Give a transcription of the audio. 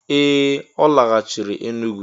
Ee! Ọ laghachiri Enugwu.